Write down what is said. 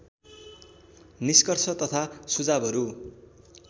निष्कर्ष तथा सुझावहरू